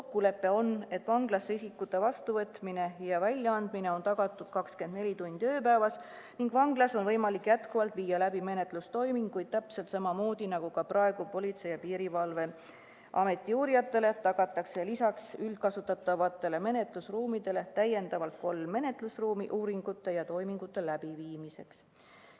Kokkulepe on, et vanglasse isikute vastuvõtmine ja sealt väljaandmine on tagatud 24 tundi ööpäevas ning vanglas on võimalik edasipidigi viia läbi menetlustoiminguid – täpselt samamoodi, nagu ka praegu Politsei- ja Piirivalveameti uurijatele tagatakse lisaks üldkasutatavatele menetlusruumidele täiendavalt kolm menetlusruumi uuringute ja toimingute läbiviimiseks.